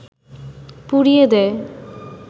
পুড়িয়ে দেয়